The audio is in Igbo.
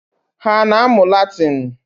Ha ana-amụ Latịnị?